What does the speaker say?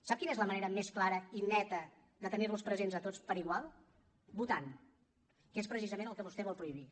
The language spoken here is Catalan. sap quina és la manera més clara i neta de tenir los presents a tots per igual votant que és precisament el que vostè vol prohibir